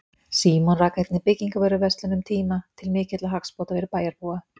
Símon rak einnig byggingavöruverslun um tíma til mikilla hagsbóta fyrir bæjarbúa.